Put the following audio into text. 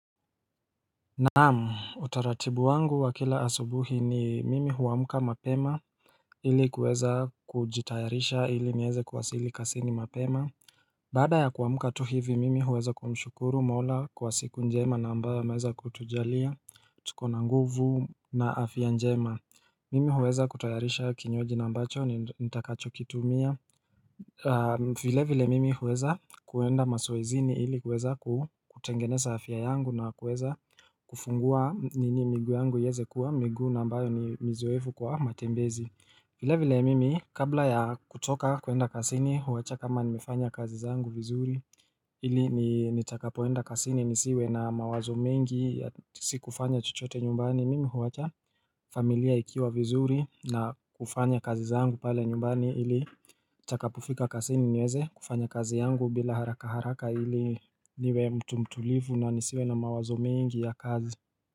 Naam utaratibu wangu wakila asubuhi ni mimi huwamuka mapema ili kuweza kujitayarisha ili nieze kuwasili kazini mapema Baada ya kuwamka tu hivi mimi huweza kumshukuru mola kwa siku njema na ambayo ameweza kutujalia tukona nguvu na afya njema Mimi huweza kutayarisha kinywaji na ambacho ni nitakacho kitumia vile vile mimi huweza kuenda mazoezini ili huweza kutengene afia yangu na kuweza kufungua miguu yangu iweze kuwa migu nambayo ni mizoefu kwa matembezi vile vile mimi kabla ya kutoka kuenda kazini huwacha kama nimefanya kazi zangu vizuri ili nitakapoenda kasini nisiwe na mawazo mingi si kufanya chochote nyumbani. Mimi huwacha familia ikiwa vizuri na kufanya kazi zangu pale nyumbani ili nitakapofika kazi niweze kufanya kazi yangu bila haraka haraka ili niwe mtu mtulivu na nisiwe na mawazo mingi ya kazi.